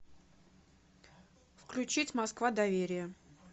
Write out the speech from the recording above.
включить москва доверие